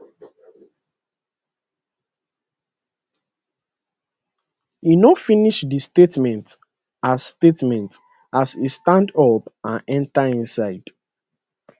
e no finish di statement as statement as e stand up and enta inside